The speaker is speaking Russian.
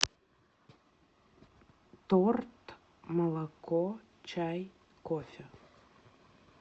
торт молоко чай кофе